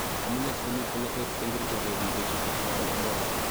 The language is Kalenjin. Amunee sigomii bolotet eng kerchot neribe chito simanam Ebola?